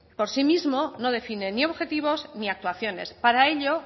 por sí mismo no define ni objetivos ni actuaciones para ello